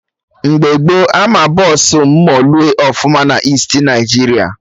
Mgbe gboo Ama Bọsụ moolue ọfụma na Easti Naịjiria